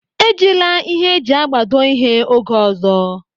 E jila ịhe eji agbado ihe oge ọzọ.